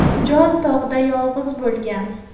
Jon tog‘da yolg‘iz bo‘lgan.